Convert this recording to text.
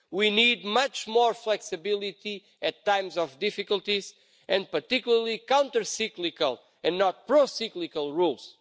We need much more flexibility at times of difficulties and particularly countercyclical and not pro cyclical rules.